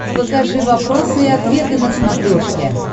покажи вопросы и ответы на смотрешке